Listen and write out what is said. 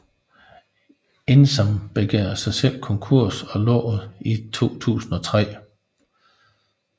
Indsam begærede sig selv konkurs og lukkede i 2003